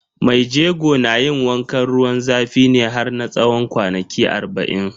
Mai jego na yin wankan ruwan zafi ne har na tsawon kwanaki arba'in.